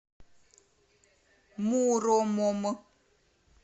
муромом